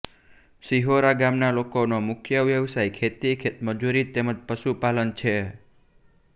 શિહોરા ગામના લોકોનો મુખ્ય વ્યવસાય ખેતી ખેતમજૂરી તેમ જ પશુપાલન છે